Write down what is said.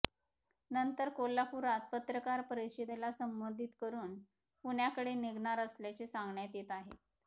नंतर कोल्हापुरात पत्रकार परिषदेला संबोधित करून पुण्याकडे निघणार असल्याचे सांगण्यात येत आहेत